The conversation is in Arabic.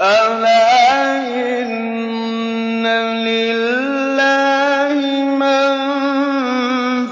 أَلَا إِنَّ لِلَّهِ مَن